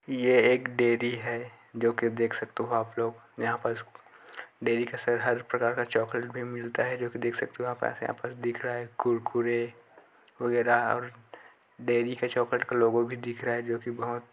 ये एक डेरी हैं जो की आप देख सकते हो आप लोग जहाँ पर डेरी का हर तरीके का चॉक्लेट भी मिलता है देख सकते हो आप जैसे यहाँ पर दिख रहा है कुरकुर वगैरह और डेरी पर चॉक्लेट का लोगो भी दिख रहा है। जो की बहोत --